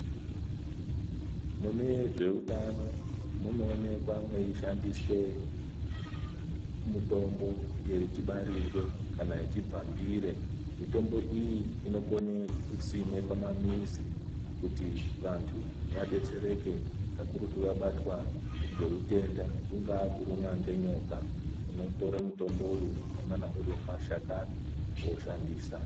Munezvewutano, munowonekwa meyishandiswe mutombo yechibarirwe kana yechibvambire. Mitombo iyi, inokone kusimwe pamamizi kuti vantu vadetsereke kakurutu vabatwa ngewutenda. Kungaha kurumwa ngenyoka, unotore mutomboyo unongana urimumashakani oshandisa.